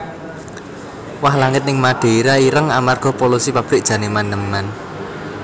Wah langit ning Madeira ireng amarga polusi pabrik jan eman eman